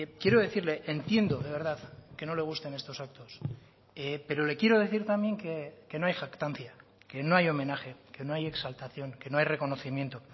quiero decirle entiendo de verdad que no le gusten estos actos pero le quiero decir también que no hay jactancia que no hay homenaje que no hay exaltación que no hay reconocimiento